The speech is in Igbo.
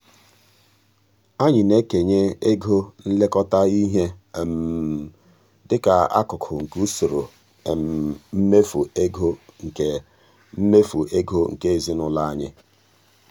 anyị na-ekenye ego nlekọta ihe di ka akụkụ nke usoro mmefu ego nke mmefu ego nke ezinụụlọ anyị.